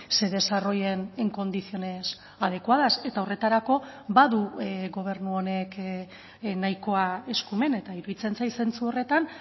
se desarrollen en condiciones adecuadas eta horretarako badu gobernu honek nahikoa eskumen eta iruditzen zait zentzu horretan